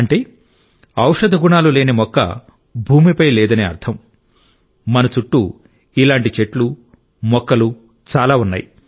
అంటే ఔషధ గుణాలు లేని మొక్క భూమిపై లేదని అర్థం మన చుట్టూ ఇలాంటి చెట్లు మొక్కలు చాలా ఉన్నాయి